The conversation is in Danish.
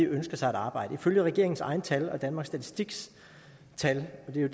ønsker sig et arbejde ifølge regeringens egne tal og danmarks statistiks tal og det